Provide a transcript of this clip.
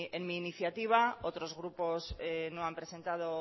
en mi iniciativa otros grupos no han presentado